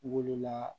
Wolola